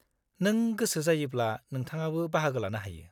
-नों गोसो जायोब्ला नोंथाङाबो बाहागो लानो हायो।